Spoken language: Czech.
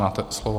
Máte slovo.